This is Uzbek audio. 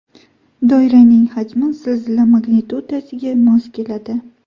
Doiraning hajmi zilzila magnitudasiga mos keladi.